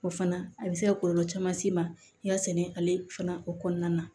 O fana a bɛ se ka kɔlɔlɔ caman s'i ma i ka sɛnɛ ale fana o kɔnɔna na